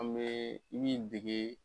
An bee min dege